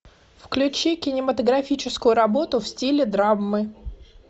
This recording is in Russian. включи кинематографическую работу в стиле драмы